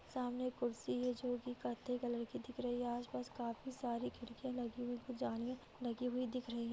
सामाने एक कुर्सी है जोकि कत्थई कलर की दिख रही हैं। आस-पास काफी सारी खिड़कियां लगी हुई। जालियां लगी हुई दिख रही --